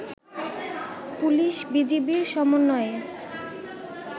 পুলিশ-বিজিবির সমন্বয়ে